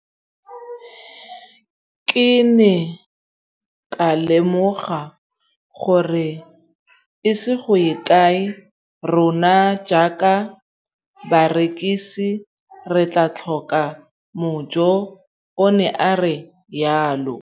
Ke ne ka lemoga gore go ise go ye kae rona jaaka barekise re tla tlhoka mojo, o ne a re jalo.